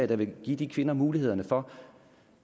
der vil give de kvinder muligheder for